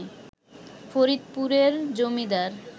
ফরিদপুরের জমিদার